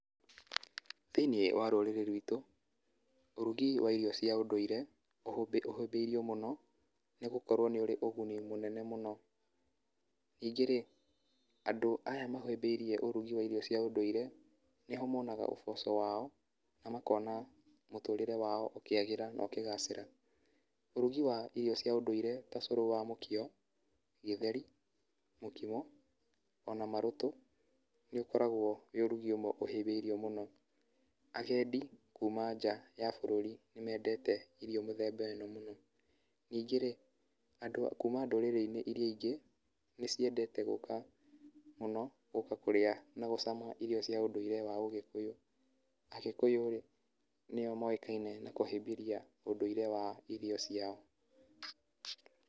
Thĩini wa rũrĩrĩ ruitũ ũrugi wa irio cia ũndũire, ũhũthĩirio mũno nĩ gũkorwo nĩ ũrĩ ũguni mũnene mũno, ningĩ rĩ andũ aya mahĩmbĩirie ũrugi wa irio cia ũndũire nĩho monaga ũboco wao, na makona mũtũrĩre wao ũkĩagĩra na ũkĩgacĩra. Ũrugi wa irio cia ũdũire ta ũcũrũ wa mũkio, gĩtheri, mũkimo ona marũtũ, nĩ ũkoragwo ũrĩ ũrugi ũmwe ũhĩmbĩirio mũno, agendi kuma nja ya bũrũri nĩmendete irio mĩthemba ĩno, ningĩ rĩ andũ a kuma ndũrĩrĩ iria ingĩ nĩ citendete gũka mũno gũka kũrĩa na gũcama irio cia ũndũire wa ũgĩkũyũ. Agĩkũyũ rĩ nĩo moĩkaine na kũhĩmbĩria ũndũire wa irio ciao.